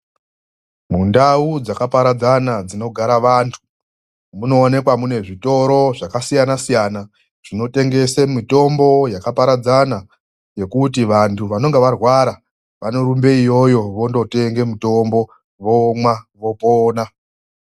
MUNDAU DZAKAPARADZANA DZINOGARA ANHU MUNOONEKWA MUNE ZVITORO ZVAKASIYANA SIYANA ZVINOTENGESE MITOMBO YAKAPARADZANA ZVEKUTI VANHU VANENGE ARWARA VANOENDE IYOYO VONDOTENGE MUTOMBO VOMWA VOPONA